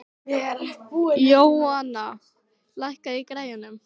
Jóanna, lækkaðu í græjunum.